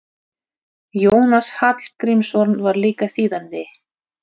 Jónas Hallgrímsson var líka þýðandi.